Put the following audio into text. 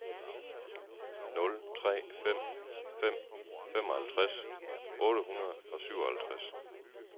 nul tre fem fem femoghalvtreds otte hundrede og syvoghalvtreds